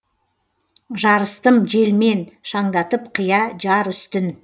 жарыстым желмен шаңдатып қия жар үстін